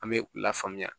An bɛ u lafaamuya